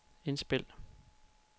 indspil